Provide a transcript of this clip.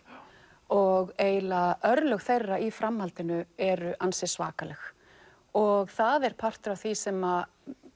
og eiginlega örlög þeirra í framhaldinu eru ansi svakaleg og það er partur af því sem